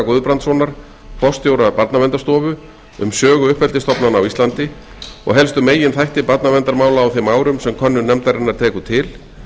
guðbrandssonar forstjóra barnaverndarstofu um sögu uppeldisstofnana á íslandi og helstu meginþætti barnaverndarmála á þeim árum sem könnun nefndarinnar tekur til